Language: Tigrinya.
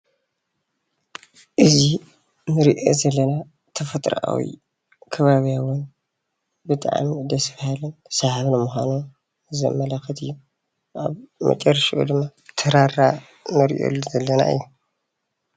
እዚ እንሪኦ ዘለና ተፈጥራኣዊ ኸባብያውን ብጣዕሚ ደስ በሃልን ሰሓብን ምኾኑን ዘመላክት እዩ። ኣብ መጨረሽተኡ ድማ ተራራ ንሪኢሉ ዘለና እዩ።